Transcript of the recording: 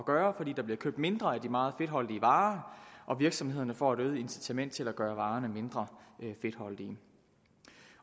gøre fordi der bliver købt mindre af de meget fedtholdige varer og virksomhederne får et øget incitament til at gøre varerne mindre fedtholdige